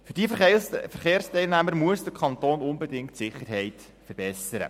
Für diese Verkehrsteilnehmer muss der Kanton unbedingt die Sicherheit verbessern.